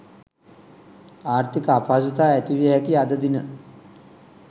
ආර්ථික අපහසුතා ඇතිවිය හැකි අද දින